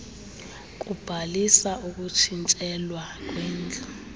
kubhalisa ukutshintshelwa kwendlu